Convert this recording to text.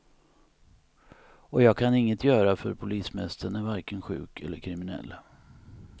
Och jag kan inget göra, för polismästaren är varken sjuk eller kriminell.